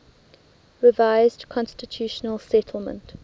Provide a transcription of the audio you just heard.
revised constitutional settlement